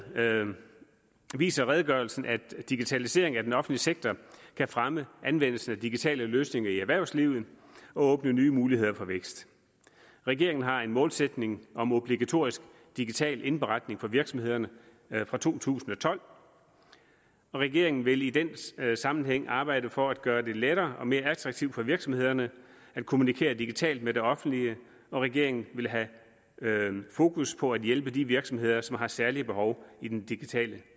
viser redegørelsen at digitalisering af den offentlige sektor kan fremme anvendelsen af digitale løsninger i erhvervslivet og åbne nye muligheder for vækst regeringen har en målsætning om obligatorisk digital indberetning for virksomhederne fra to tusind og tolv og regeringen vil i den sammenhæng arbejde for at gøre det lettere og mere attraktivt for virksomhederne at kommunikere digitalt med det offentlige regeringen vil have fokus på at hjælpe de virksomheder som har særlige behov i den digitale